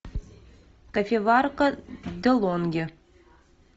кофеварка делонги